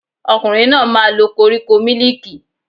Ọkùnrin náà máa lo koríko mílìkì